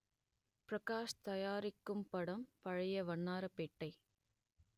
பிரகாஷ் தயாரிக்கும் படம் பழைய வண்ணாரப்பேட்டை